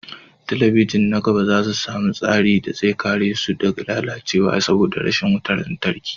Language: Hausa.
Talabijin na gaba za su sami tsarin da zai kare su daga lalacewa saboda rashin wutar lantarki